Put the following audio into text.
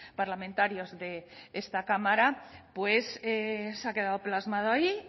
parlamentarios de esta cámara pues se ha quedado plasmado ahí